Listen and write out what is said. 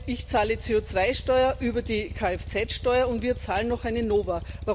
Ich zahle CO2 Steuer über die Kfz Steuer, und wir zahlen noch eine NoVA.